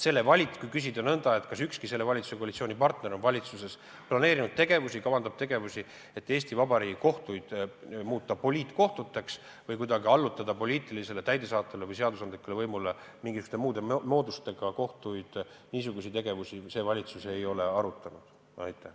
Kui küsida nõnda, kas ükski selle valitsuse koalitsioonipartneritest kavandab valitsuses tegevusi, et Eesti Vabariigi kohtud muuta poliitkohtuteks või kuidagi muul moel allutada kohtuid poliitilisele, täidesaatvale või seadusandlikule võimule, siis niisuguseid tegevusi see valitsus ei ole arutanud.